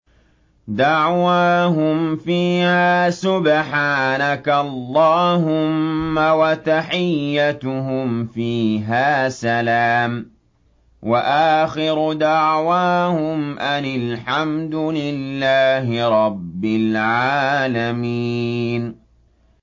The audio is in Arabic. دَعْوَاهُمْ فِيهَا سُبْحَانَكَ اللَّهُمَّ وَتَحِيَّتُهُمْ فِيهَا سَلَامٌ ۚ وَآخِرُ دَعْوَاهُمْ أَنِ الْحَمْدُ لِلَّهِ رَبِّ الْعَالَمِينَ